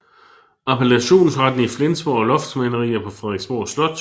Appellationsretten i Flensborg og loftsmalerier på Frederiksborg Slot